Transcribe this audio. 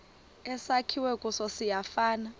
esakhiwe kuso siyafana